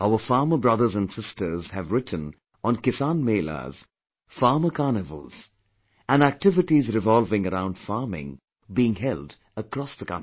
Our farmer brothers & sisters have written on Kisan Melas, Farmer Carnivals and activities revolving around farming, being held across the country